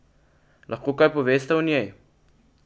Lahko kaj poveste o njej?